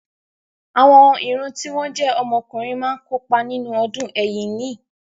Àwọn ìran tí wọ́n jẹ́ ọmọ ọkùnrin máa kópa nínú ọdún Ẹ̀yíní.